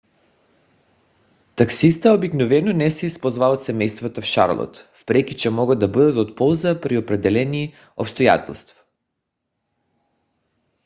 такситата обикновено не се използват от семействата в шарлот въпреки че могат да бъдат от полза при определени обстоятелства